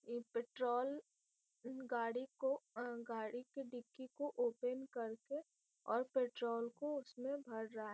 ये पेट्रोल गाड़ी को अ गाड़ी के डिक्की को ओपेन कर के और पेट्रोल को उसमें भर रहा हैं।